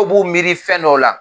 Dɔw b'u miiri fɛn dɔw la